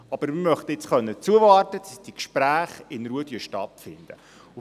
Wir möchten nun aber zuwarten können, damit die Gespräche in Ruhe stattfinden können.